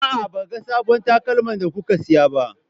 A'a, ban ga sabbon takalman da kuka siya ba.